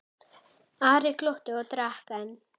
Ari glotti og drakk enn.